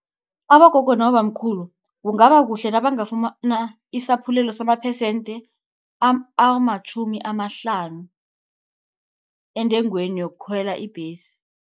Abogogo nabobamkhulu, kungaba kuhle nabangafumana isaphulelo samaphesente amatjhumi amahlanu, entengweni yokukhwela ibhesi.